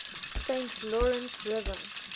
saint lawrence river